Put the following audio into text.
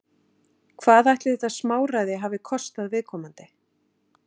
Hvað ætli þetta smáræði hafi kostað viðkomandi?